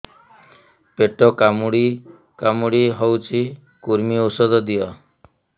ପେଟ କାମୁଡି କାମୁଡି ହଉଚି କୂର୍ମୀ ଔଷଧ ଦିଅ